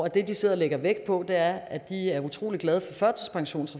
det de sidder og lægger vægt på er at de er utrolig glade